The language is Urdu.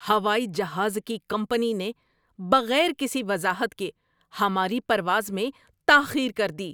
ہوائی جہاز کی کمپنی نے بغیر کسی وضاحت کے ہماری پرواز میں تاخیر کر دی۔